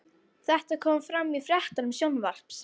Þetta kom fram í fréttum Sjónvarps